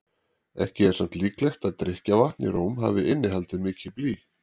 ekki er samt líklegt að drykkjarvatn í róm hafi innihaldið mikið blý